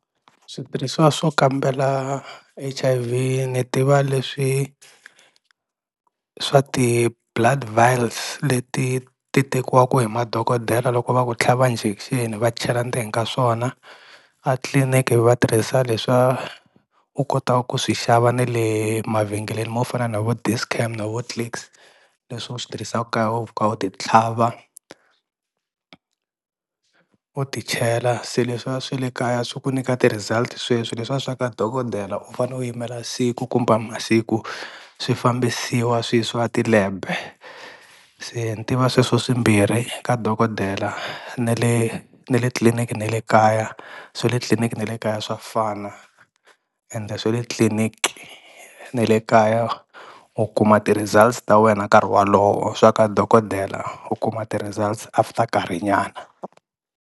Switirhisiwa swo kambela H_I_V ni tiva leswi swa ti-blood vials leti ti tekiwaka hi madokodela loko va ku tlhava injection va chela ndzeni ka swona atliliniki va tirhisa leswa u kotaku ku swi xava ne le mavhengeleni mo fana na vo Dis-Chem na vo Clicks leswi u swi tirhisaku kaya u fika u ti tlhava u ti chela, se leswiya swa le kaya swi ku nyika ti-results sweswi leswiya swa ka dokodela u fane u yimela siku kumbe masiku swi fambisiwa swi yisiwa ti-lab-e, se ni tiva sweswo swimbirhi ka dokodela ne le ne le tliliniki ne le kaya swa le tliliniki ne le kaya swa fana ende swe le tliliniki na le kaya u kuma ti-results ta wena karhi wolowo swa ka dokodela u kuma ti-results after karhi nyana.